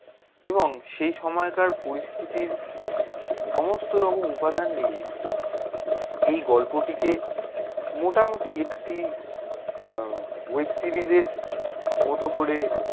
এবং সেই সময়কার পরিস্থিতির সমস্ত রকম উপাদান নিয়ে এই গল্প টি কে মোটামোটি একটি আহ web series এর মতো করে